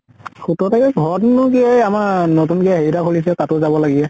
সোতৰ তাৰিখে ঘৰতনো কি আমাৰ এ নতুনকে হেৰি এটা খুলিছে, তাতো যাব লাগে।